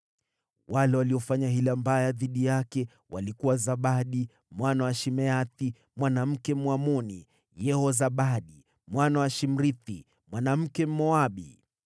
Wale waliofanya hila mbaya dhidi yake walikuwa Zabadi, mwana wa Shimeathi mwanamke Mwamoni, Yehozabadi, mwana wa Shimrithi mwanamke Mmoabu.